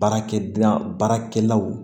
Baarakɛ baarakɛlaw